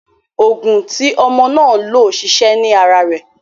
Oògùn n tí ọmọ náà lò ṣiṣẹ́ ní ara rẹ̀.